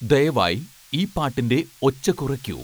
ദയവായി ഈ പാട്ടിൻ്റെ ഒച്ച കുറയ്ക്കൂ